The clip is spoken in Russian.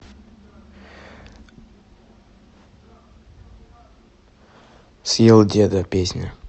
съел деда песня